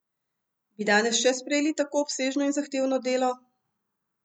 Bi danes še sprejeli tako obsežno in zahtevno delo?